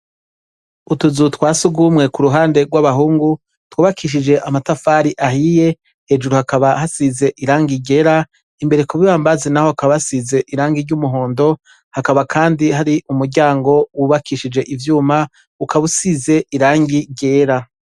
Utuzu twa sugumwe ku ruhande rw'abahungu twubakishije amatafari ahiye, hejuru hakaba hasize irangi ryera, imbere ku bibambazi naho hakaba hasize irangi ry'umuhondo, hakaba kandi hari umuryango wubakishije ivyuma, ukaba usize irangi ryera.